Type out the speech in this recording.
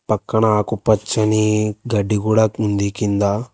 పక్కన ఆకు పచ్చని గడ్డి కూడా కుంది కింద.